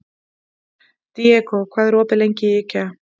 Diego, hvað er opið lengi í IKEA?